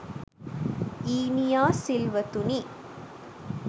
ඊනියා සිල්වතුනි